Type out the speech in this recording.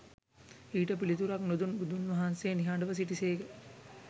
ඊට පිළිතුරක් නොදුන් බුදුන් වහන්සේ නිහඬව සිටිසේක